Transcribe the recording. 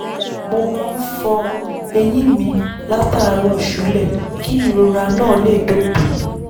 mo máa ń fọ eyín mi látàárọ̀ ṣúlẹ̀ kí ìrora náà lè dópin